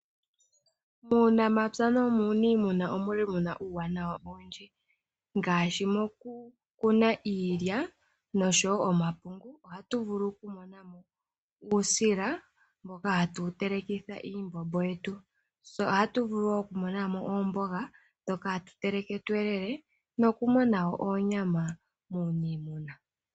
Muunamapya nuuniimuna omuli muna uuwanawa owundji ngashi mokukuna iilya noshowo omapungu ohatu vulu okumonamo uusila mboka hatu telekitha iimbombo yetu , tse ohatu vulu okumonamo oomboga ndhoka hatu teleke tu elele noku monawo oonyama muuniimuna.